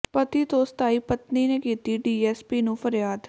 ਪਤੀ ਤੋਂ ਸਤਾਈ ਪਤਨੀ ਨੇ ਕੀਤੀ ਡੀਐਸਪੀ ਨੂੰ ਫਰਿਆਦ